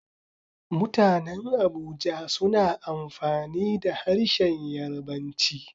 Mutanen Abuja suna amfani da harshen Yarbanci.